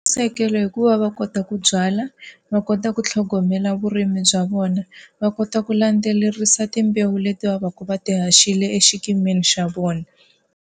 hikuva va kota ku byala, va kota ku tlhogomela vurimi bya vona, va kota ku landzelerisa timbewu leti va va ka va ti haxile xikimi xa vona.